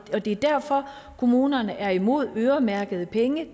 er derfor at kommunerne er imod øremærkede penge